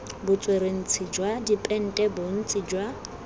botsweretshi jwa dipente bontsi jwa